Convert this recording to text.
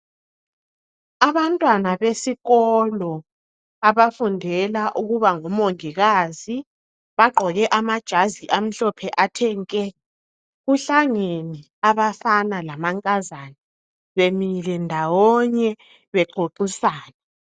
Abantwana besikolo, abafundela ukuba ngomongikazi bagqoke amajazi amahlophe athe nke. Kuhlangene, abafana lamankazana. Bemile ndawonye, bexoxisana